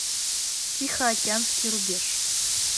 тихоокеанский рубеж